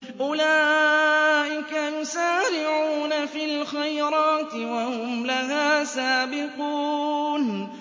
أُولَٰئِكَ يُسَارِعُونَ فِي الْخَيْرَاتِ وَهُمْ لَهَا سَابِقُونَ